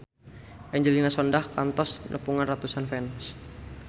Angelina Sondakh kantos nepungan ratusan fans